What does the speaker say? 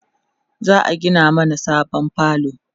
za'a Gina mana sabon falo